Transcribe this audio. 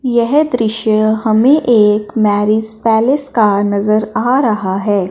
यह दृश्य हमें एक मैरिज पैलेस का नजर आ रहा है।